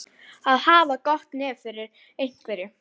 Að hafa gott nef fyrir einhverju